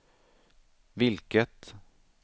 vilket